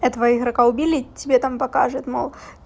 этого игрока убили тебе там покажет мол